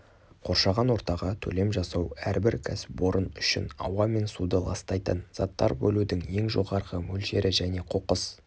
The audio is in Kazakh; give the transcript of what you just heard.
қоршаған ортаға төлем жасау әрбір кәсіпорын үшін ауа мен суды ластайтын заттар бөлудің ең жоғарғы мөлшері және қоқыс